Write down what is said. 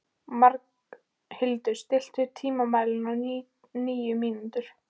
Magnhildur, stilltu tímamælinn á níu mínútur.